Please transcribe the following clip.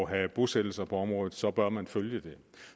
at have bosættelser på området så bør man følge det